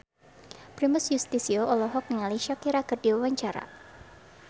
Primus Yustisio olohok ningali Shakira keur diwawancara